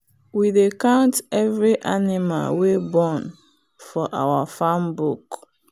we dey count every animal wey born for our farm book.